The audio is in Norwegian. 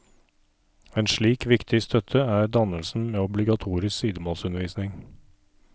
Ei slik viktig støtte er skipnaden med obligatorisk sidemålsundervisning.